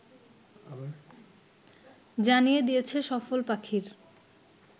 জানিয়ে দিয়েছে সফল পাখির